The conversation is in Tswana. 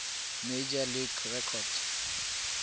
major league record